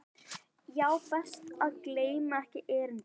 Já, best að gleyma ekki erindinu.